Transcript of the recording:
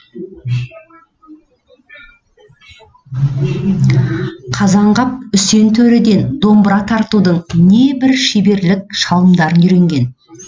қазанғап үсен төреден домбыра тартудың небір шеберлік шалымдарын үйренген